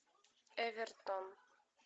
эвертон